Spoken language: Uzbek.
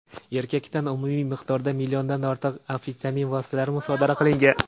Erkakdan umumiy miqdorda milliondan ortiq amfetamin vositalari musodara qilingan.